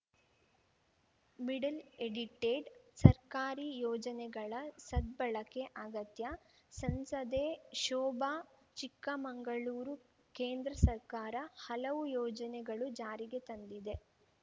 middle edited ಸರ್ಕಾರಿ ಯೋಜನೆಗಳ ಸದ್ಬಳಕೆ ಅಗತ್ಯ ಸಂಸದೆ ಶೋಭಾ ಚಿಕ್ಕಮಂಗಳೂರು ಕೇಂದ್ರ ಸರ್ಕಾರ ಹಲವು ಯೋಜನೆಗಳು ಜಾರಿಗೆ ತಂದಿದೆ